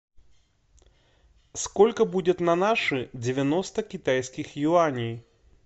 сколько будет на наши девяносто китайских юаней